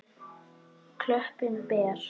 Klöppin ber.